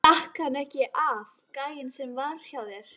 Stakk hann ekki af, gæinn sem var hjá þér?